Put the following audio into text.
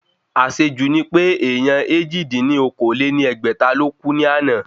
Àsejù ni pé èèyàn èjì dín ní okòó-lé-ní-ẹgbẹ́ta ló kú ní àná